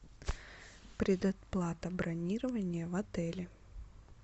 предоплата бронирования в отеле